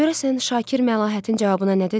Görəsən Şakir Məlahətin cavabına nə dedi?